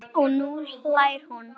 Og nú hlær hún.